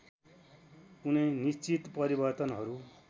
कुनै निश्चित परिवर्तनहरू